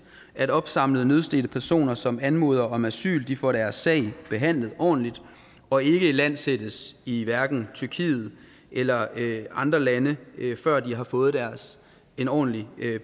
at opsamlede nødstedte personer som anmoder om asyl får deres sag behandlet ordentligt og ikke ilandsættes i hverken tyrkiet eller andre lande før de har fået en ordentlig